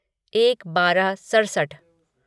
एक बारह सड़सठ